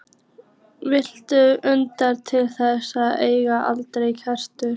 Viltu utan til þess að eiga aldrei afturkvæmt?